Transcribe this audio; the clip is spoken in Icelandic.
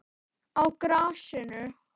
Á grasinu?